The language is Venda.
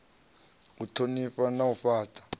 u thonifha na u fhata